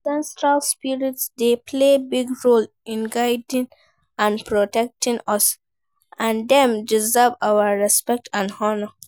Ancestral spirits dey play big role in guiding and protecting us, and dem deserve our respect and honor.